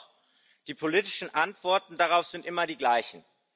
Und doch Die politischen Antworten darauf sind immer die gleichen.